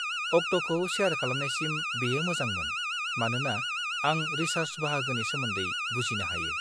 अक्टखौ सेयार खालामनायसिम बेयो मोजांमोन, मानोना आं रिसर्च बाहागोनि सोमोन्दै बुजिनो हायो।